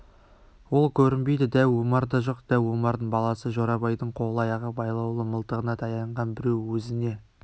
ол көрінбейді дәу омар да жоқ дәу омардың баласы жорабайдың қол-аяғы байлаулы мылтығына таянған біреу өзіне